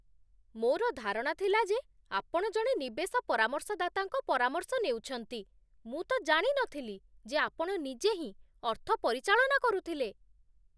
ମୋର ଧାରଣା ଥିଲା ଯେ ଆପଣ ଜଣେ ନିବେଶ ପରାମର୍ଶଦାତାଙ୍କ ପରାମର୍ଶ ନେଉଛନ୍ତି, ମୁଁ ତ ଜାଣି ନଥିଲି ଯେ ଆପଣ ନିଜେ ହିଁ ଅର୍ଥ ପରିଚାଳନା କରୁଥିଲେ!